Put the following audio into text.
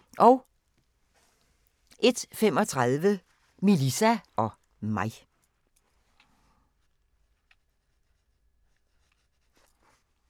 01:35: Melissa og mig